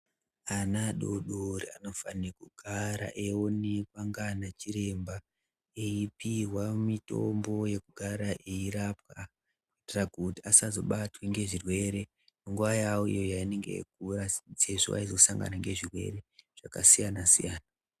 Ana adodori anofane kugara eionekwa ngaana chiremba eipihwa mitombo yekugara eirapwa kuitira kuti asazobatwa ngezvirwere nguwa yawo yaanenge eikura sezvo eizosangana ngezvirwere zvakasiyana siyana.